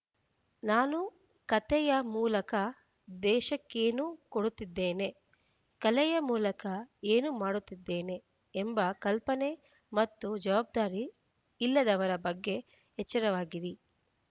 ನಾನು ಕತೆಯ ಮೂಲಕ ದೇಶಕ್ಕೇನು ಕೊಡುತ್ತಿದ್ದೇನೆ ಕಲೆಯ ಮೂಲಕ ಏನು ಮಾಡುತ್ತಿದ್ದೇನೆ ಎಂಬ ಕಲ್ಪನೆ ಮತ್ತು ಜವಾಬ್ದಾರಿ ಇಲ್ಲದವರ ಬಗ್ಗೆ ಎಚ್ಚರವಾಗಿರಿ